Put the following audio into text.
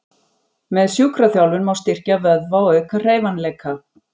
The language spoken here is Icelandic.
Með sjúkraþjálfun má styrkja vöðva og auka hreyfanleika.